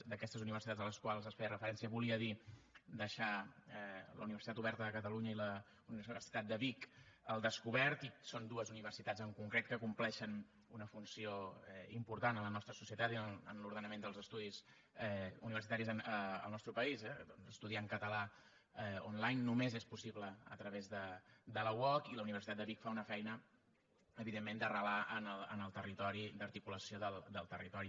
d’aquestes universitats a les quals es feia referència volia dir deixar la universitat oberta de catalunya i la universitat de vic al descobert i són dues universitats en concret que compleixen una funció important en la nostra societat i en l’ordenament dels estudis universitaris al nostre país eh estudiar en català onlinela uoc i la universitat de vic fa una feina evidentment d’arrelar en el territori d’articulació del territori